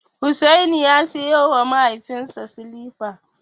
Hussaini ya siyowa mahaifinsa silifa.